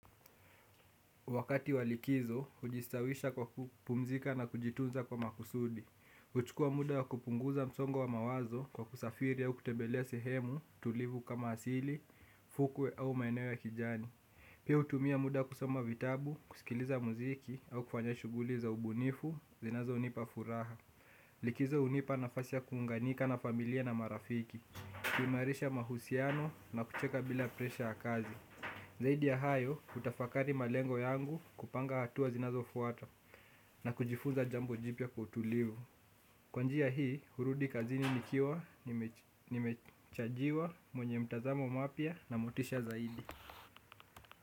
Wakati wa likizo, hujistawisha kwa kupumzika na kujitunza kwa makusudi. Huchukua muda wa kupunguza msongo wa mawazo kwa kusafiri au kutembelea sehemu tulivu kama asili, fukwe au maeneo ya kijani. Pia hutumia muda kusoma vitabu, kusikiliza muziki au kufanya shughuli za ubunifu, zinazonipa furaha. Likizo hunipa nafasi ya kuunganika na familia na marafiki. Kuimarisha mahusiano na kucheka bila presha ya kazi. Zaidi ya hayo, hutafakari malengo yangu kupanga hatua zinazofuata na kujifunza jambo jipya kwa utulivu. Kwa njia hii, hurudi kazini nikiwa, nimechajiwa, mwenye mtazamo mapya na motisha zaidi.